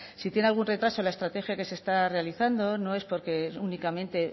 si tiene algún retraso en la estrategia que se está realizando no es porque únicamente